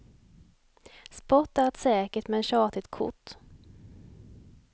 Sport är ett säkert men tjatigt kort.